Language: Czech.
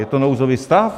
Je to nouzový stav?